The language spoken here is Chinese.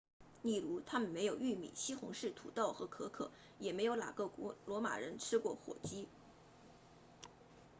例如他们没有玉米西红柿土豆和可可也没有哪个古罗马人吃过火鸡